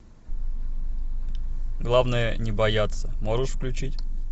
главное не бояться можешь включить